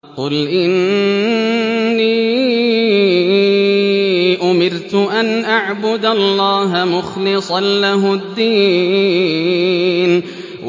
قُلْ إِنِّي أُمِرْتُ أَنْ أَعْبُدَ اللَّهَ مُخْلِصًا لَّهُ الدِّينَ